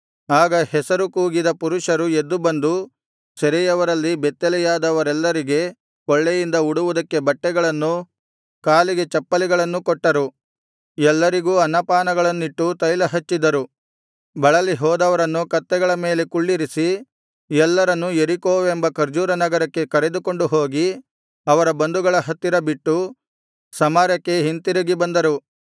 ಆಗ ಹೆಸರು ಕೂಗಿದ ಪುರುಷರು ಎದ್ದು ಬಂದು ಸೆರೆಯವರಲ್ಲಿ ಬೆತ್ತಲೆಯಾದವರೆಲ್ಲರಿಗೆ ಕೊಳ್ಳೆಯಿಂದ ಉಡುವುದಕ್ಕೆ ಬಟ್ಟೆಗಳನ್ನೂ ಕಾಲಿಗೆ ಚಪ್ಪಲಿಗಳನ್ನು ಕೊಟ್ಟರು ಎಲ್ಲರಿಗೂ ಅನ್ನಪಾನಗಳನ್ನಿಟ್ಟು ತೈಲಹಚ್ಚಿದರು ಬಳಲಿ ಹೋದವರನ್ನು ಕತ್ತೆಗಳ ಮೇಲೆ ಕುಳ್ಳಿರಿಸಿ ಎಲ್ಲರನ್ನೂ ಯೆರಿಕೋವೆಂಬ ಖರ್ಜೂರ ನಗರಕ್ಕೆ ಕರೆದುಕೊಂಡು ಹೋಗಿ ಅವರ ಬಂಧುಗಳ ಹತ್ತಿರ ಬಿಟ್ಟು ಸಮಾರ್ಯಕ್ಕೆ ಹಿಂತಿರುಗಿ ಬಂದರು